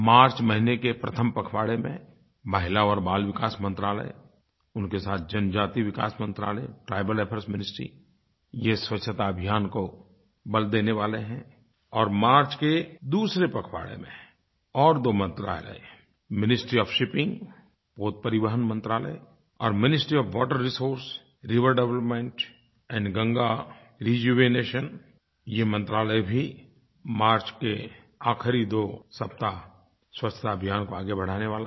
मार्च महीने के प्रथम पखवाड़े में महिला और बाल विकास मंत्रालय उनके साथ जनजाति विकास मंत्रालय ट्राइबल अफेयर्स मिनिस्ट्री ये स्वच्छता अभियान को बल देने वाले हैं और मार्च के दूसरे पखवाड़े में और दो मंत्रालय मिनिस्ट्री ओएफ शिपिंग पोत परिवहन मंत्रालय और ministry of water resource river development and Ganga rejuvenation ये मंत्रालय भी मार्च के आख़िरी दो सप्ताह स्वच्छता अभियान को आगे बढ़ाने वाले हैं